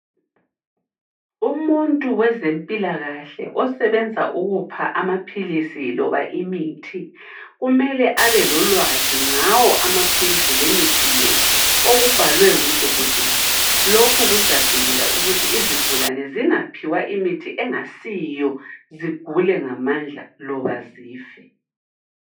Umuntu wezempilakahle osebenza ukupha amaphilisi loba imithi kumele abelolwazi ngawo amaphilisi lemithi le, okubhalwe ngu dokotela. Lokhu kuzavikela ukuthi izigulane zingaphiwa imithi engasiyo zigule ngamandla loba zife.